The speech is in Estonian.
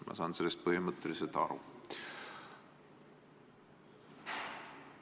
Ma saan sellest põhimõtteliselt aru.